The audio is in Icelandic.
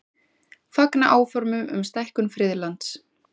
Fagna áformum um stækkun friðlands